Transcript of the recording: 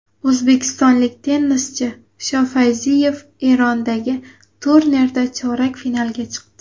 O‘zbekistonlik tennischi Shofayziyev Erondagi turnirda chorak finalga chiqdi.